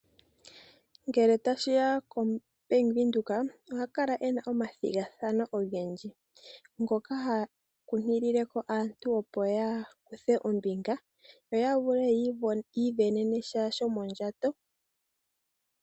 Ngele tashiya kombaanga yo Bank Windhoek ohai kala yina omathigathano ogendji ngoka hayi kunkilile ko aantu opo yakuthe ombinga yo yavule oku isindanena shomondjato.